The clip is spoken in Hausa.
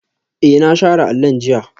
Ee, na share allon jiya